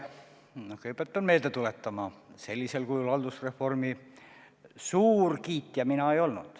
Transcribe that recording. Kõigepealt pean meelde tuletama, et sellisel kujul haldusreformi suur kiitja mina ei olnud.